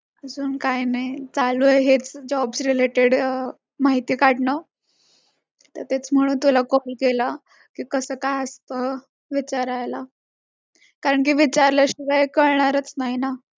अजून काय नाही. चालू आहे हेच jobs related अह माहिती काढणं तेच म्हणून तुला अर केला कि कस काय असता विचारायला. कारण कि विचारल्या शिवाय कळणारच नाही ना.